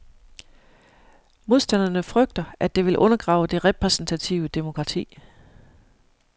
Modstanderne frygter, at det vil undergrave det repræsentative demokrati.